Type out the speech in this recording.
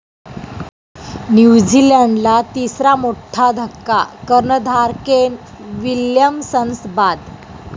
न्यूझीलंडला तिसरा मोठा धक्का, कर्णधार केन विल्यमसन्स बाद.